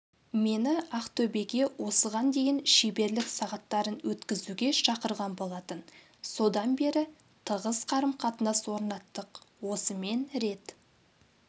мені ақтөбеге осыған дейін шеберлік сағаттарын өткізуге шақырған болатын содан бері тығыз қарым-қатынас орнаттық осымен рет